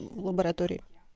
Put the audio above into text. в лаборатории